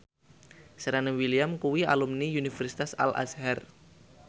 Serena Williams kuwi alumni Universitas Al Azhar